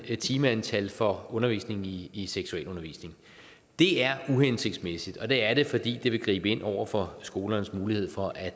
timeantal for undervisning i i seksualundervisning det er uhensigtsmæssigt og det er det fordi det vil gribe ind over for skolernes mulighed for at